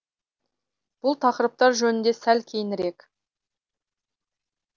бұл тақырыптар жөнінде сәл кейінірек